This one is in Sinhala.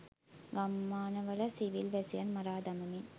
ගම්මානවල සිවිල් වැසියන් මරා දමමින්